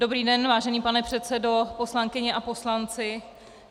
Dobrý den, vážený pane předsedo, poslankyně a poslanci.